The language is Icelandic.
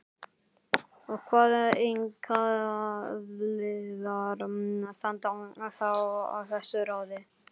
Og hvað einkaaðilar standa þá að þessu ráði?